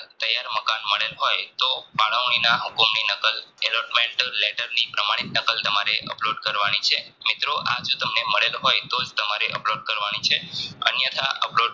મળેલ હોય તો ફાળવણીના હુકમ ની નકલ પ્રમાણિત નકલ તમારે upload કરવાની છે આજે તમને મળેલ હોય તોજ તમારે upload કરવાની છે અન્યથા upload